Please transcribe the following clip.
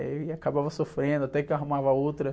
E aí eu acabava sofrendo até que eu arrumava outra.